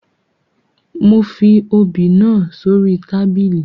Mo fi obì náà sórí tábìlì